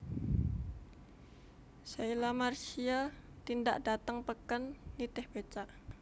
Sheila Marcia tindak dateng peken nitih becak